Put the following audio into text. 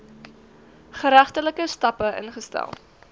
geregtelike stappe ingestel